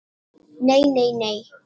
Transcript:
"""Nei, nei, nei!"""